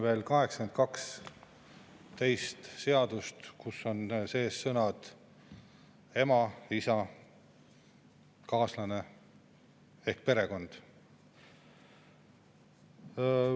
Meile on saali toodud seadus, millega me muudame 82 seadust, kus on sees sõnad "ema", "isa", "kaaslane" ehk perekond.